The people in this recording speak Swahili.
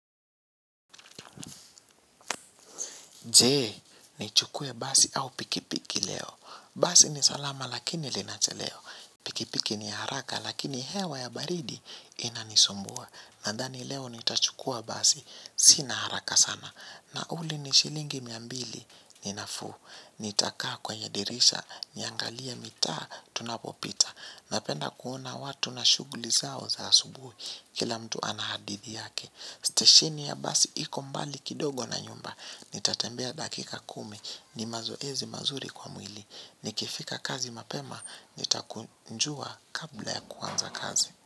Je, nichukue basi au pikipiki leo. Basi ni salama lakini linachelewa. Pikipiki ni haraka lakini hewa ya baridi inanisumbua. Nadhani leo nitachukua basi, sina haraka sana. Nauli ni shilingi mia mbili, ni nafuu. Nitakaa kwenye dirisha, niangalie mitaa, tunapopita. Napenda kuona watu na shughuli zao za asubuhi, kila mtu ana hadithi yake. Stesheni ya basi iko mbali kidogo na nyumba. Nitatembea dakika kumi. Ni mazoezi mazuri kwa mwili. Nikifika kazi mapema nitakunjua kabla ya kuanza kazi.